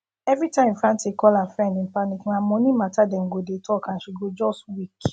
every time frantic call her friends in panic na money matter dem go dey talk and she go just weak